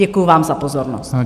Děkuji vám za pozornost.